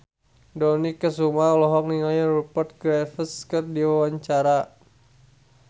Dony Kesuma olohok ningali Rupert Graves keur diwawancara